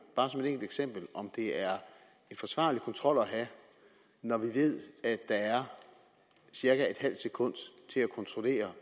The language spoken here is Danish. bare som et enkelt eksempel at det er en forsvarlig kontrol at have når vi ved at der er cirka en halv sekund til at kontrollere